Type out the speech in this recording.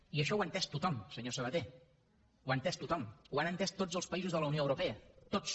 i això ho ha entès tothom senyor sabaté ho ha entès tothom ho han entès tots els països de la unió europea tots